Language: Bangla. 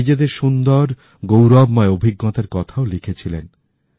নিজেদের সুন্দর গৌরবময় অভিজ্ঞতার কথাওলিখেছিলেন